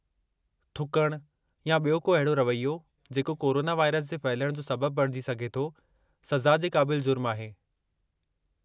थुकणु या ॿियो को अहिड़ो रवैयो जेको कोरोना वायरस जे फहिलणु जो सबबु बणिजी सघे थो सज़ा जे क़ाबिल जुर्मु आहे।